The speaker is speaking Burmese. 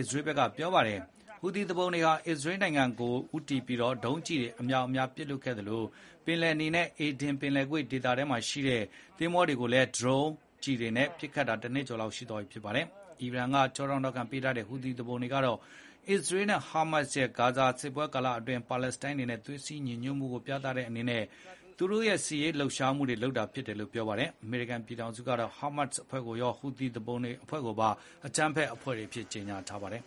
စ္စရေးက ပြောပါတယ်။ ဟူသီသူပုန်တွေဟာ အစ္စရေးနိုင်ငံကို ဦးတည်ပြီး ဒုံးကျည်အမြောက်အများ ပစ်လွှတ်ခဲ့သလို ပင်လယ်နီနဲ့ အေဒင်ပင်လယ်ကွေ့ ဒေသထဲမှာရှိတဲ့ သင်္ဘောတွေကိုလည်း ဒရုန်းတွေ ဒုံးကျည်တွေနဲ့ပစ်နေတာ တနှစ်ကျော်လောက်ရှိသွားပြီ ဖြစ်ပါတယ်။ အီရန်က ကျောထောက်နောက်ခံ ပေးထားတဲ့ ဟူသီသူပုန်တွေကတော့ အစ္စရေးနဲ့ဟာမတ်စ်တို့ရဲ့ ဂါဇာစစ်ပွဲကာလအတွင်း ပါလက်စတိုင်း တွေနဲ့ သွေးစည်းညီညွတ်မှုကို ပြသတဲ့အနေနဲ့ သူတို့ရဲ့စစ်ရေးလှုပ်ရှားမှု လုပ်တာဖြစ်တယ်လို့ ပြောပါတယ်။ အမေရိကန်ပြည်ထောင်စုကတော့ ဟာမတ်စ်အဖွဲ့ကိုရော ဟူသီသူပုန်တွေကိုပါ အကြမ်းဖက်အဖွဲ့တွေအဖြစ် သတ်မှတ်ထားပါတယ်။